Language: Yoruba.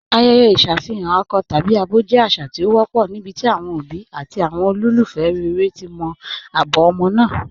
Ayẹ̀yẹ̀ iṣafihàn akọ̀ tabi abọ jẹ́ àṣà tí o wọ̀pọ̀ níbití awọn obì àti awọn olúfẹ́ rẹ̀rẹ̀ ti mọ̀ abọ̀ ọmọ́ náà.